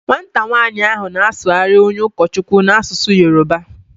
Nwata nwanyi na-asughari onye ukochukwu n'asusu Yoruba